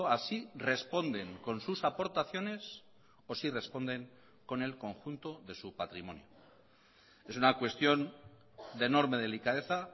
así responden con sus aportaciones o si responden con el conjunto de su patrimonio es una cuestión de enorme delicadeza